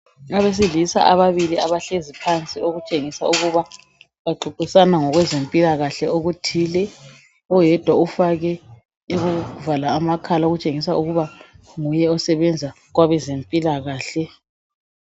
Abesilisa ababili abahlezi phansi okutshengisa ukuba baxoxisana ngokwezwmpilakahle okuthile. Oyedwa ufake okokuvala amakhala okutshengisa ukuba nguye osebenza kwabezempilakahle.